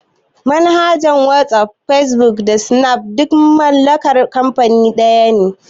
Manhajar wasaf, fesbuk da sinafcat duk mallakar kanfani daya ne